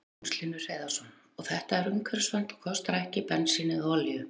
Magnús Hlynur Hreiðarsson: Og þetta er umhverfisvænt og kostar ekki bensín eða olíu?